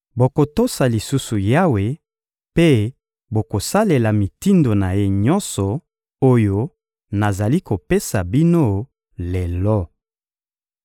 Bokotosa lisusu Yawe mpe bokosalela mitindo na Ye nyonso oyo nazali kopesa bino lelo.